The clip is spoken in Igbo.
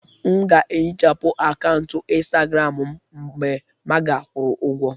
M ga-ehichapụ akaụntụ Instagram m mgbe maga kwụrụ ụgwọ